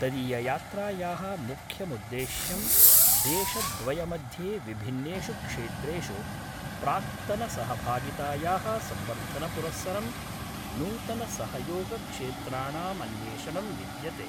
तदीययात्रायाः मुख्यमुद्देश्यं देशद्वयमध्ये विभिन्नेषु क्षेत्रेषु प्राक्तनसहभागितायाः संवर्धनपुरस्सरं नूतनसहयोगक्षेत्राणामन्वेषणं विद्यते।